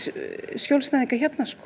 skjólstæðinga hérna